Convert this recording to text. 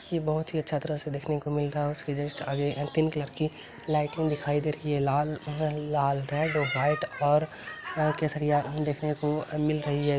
ये बहुत ही अच्छा तरह से देखने को मिलता है उसके जस्ट आगे कलर की लाइटिंग दिखाई दे रही है लाल लाल रेड व्हाइट और केसरिया देखने को मिल रही है।